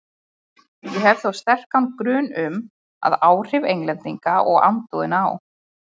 Ég hef þó sterkan grun um, að áhrif Englendinga og andúðina á